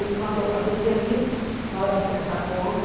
Ele mandou fazer o serviço na hora de prestar conta.